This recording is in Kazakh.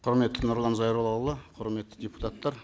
құрметті нұрлан зайроллаұлы құрметті депутаттар